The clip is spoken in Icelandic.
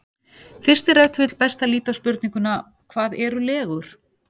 Fyrst er ef til vill best að líta á spurninguna: Hvað eru legur?